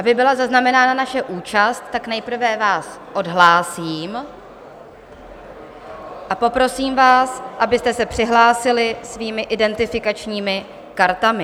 Aby byla zaznamenána naše účast, tak nejprve vás odhlásím a poprosím vás, abyste se přihlásili svými identifikačními kartami.